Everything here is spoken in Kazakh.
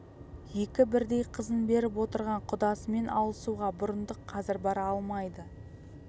екі бірдей қызын беріп отырған құдасымен алысуға бұрындық қазір бара алмайды